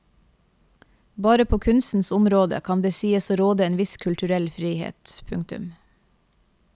Bare på kunstens område kan det sies å råde en viss kulturell frihet. punktum